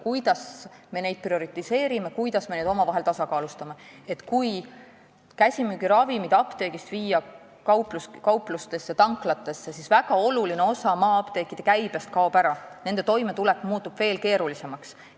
Kui viia käsimüügiravimid apteegist kauplustesse ja tanklatesse, siis kaob väga oluline osa maa-apteekide käibest ära, nende apteekide toimetulek muutub veel keerulisemaks.